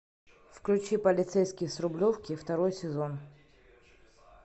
включи полицейский с рублевки второй сезон